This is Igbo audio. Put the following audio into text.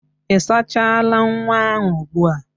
Ị sachara nwa ahụ ugbu a?